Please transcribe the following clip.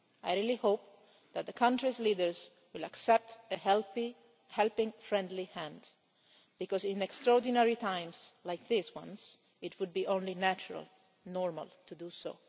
I really hope that the country's leaders will accept a helping, friendly hand, because in extraordinary times like these, it would be only natural and normal to do